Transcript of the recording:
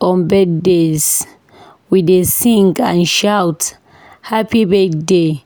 On birthdays, we dey sing and shout "Happy Birthday!"